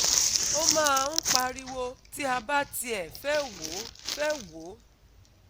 O máa ń pariwo ti a bá tiẹ̀ fe wò fe wò